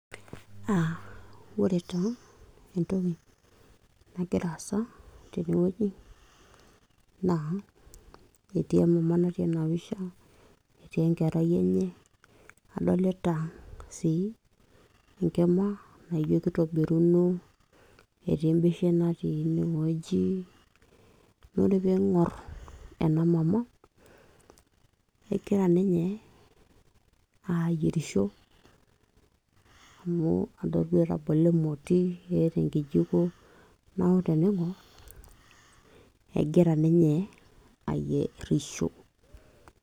uh, ore taa entoki nagira aasa tenewueji naa etii emama natii ena pisha etii enkerai enye adolita sii enkima naijo kitobiruno etii embeshen natii inewueji naa ore piing'orr ena mama kegira ninye ayierisho amu adol duo etabolo emoti eeta enkijiko neeku tening'orr egira ninye ayierisho.